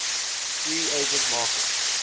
free agent market